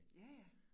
Ja ja